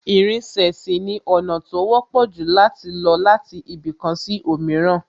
Ìrìnsẹ̀ sì ni ọ̀nà tó wọ́pọ̀ jù láti lọ láti ibì kan sí òmíràn